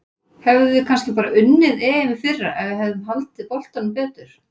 Hefðum við kannski bara unnið EM í fyrra ef við hefðum haldið boltanum betur?